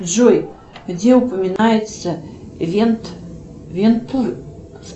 джой где упоминается вент вент